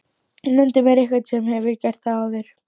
Nefndu mér einhvern sem hefur gert það áður?!